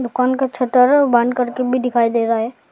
दुकान का शटर बंद करके भी दिखाई दे रहा है।